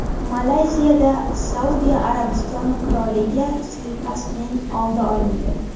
Malayziyada Saudiya Arabistoni qiroliga suiqasdning oldi olindi.